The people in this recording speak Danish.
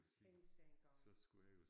Tænk sig engang